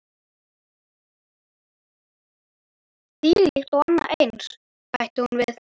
Þvílíkt og annað eins- bætti hún við.